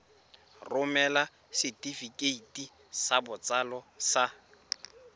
romela setefikeiti sa botsalo sa